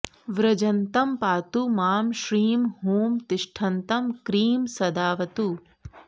व्रजन्तं पातु मां श्रीं हूं तिष्ठन्तं क्रीं सदावतु